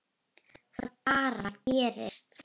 Það bara gerist.